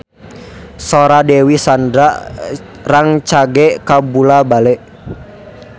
Sora Dewi Sandra rancage kabula-bale